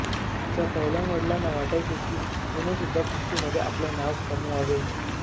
तिच्या पैलवान वडिलांना वाटायचे की तिनेसुद्धा कुस्तीमध्ये आपले नाव कमवावे